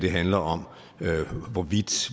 handler om hvorvidt